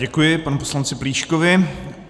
Děkuji panu poslanci Plíškovi.